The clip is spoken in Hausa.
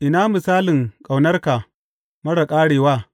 Ina misalin ƙaunarka marar ƙarewa!